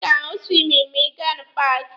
Ị ga-ahụ siwingi ma ị gaa na paaki.